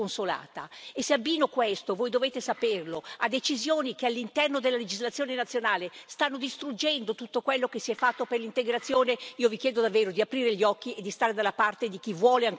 E se abbino questo, voi dovete saperlo, a decisioni che all'interno della legislazione nazionale stanno distruggendo tutto quello che si è fatto per l'integrazione, io vi chiedo davvero di aprire gli occhi e di stare dalla parte di chi vuole ancora una politica europea sull'immigrazione.